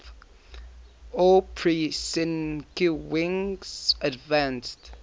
aw prusinkiewicz advanced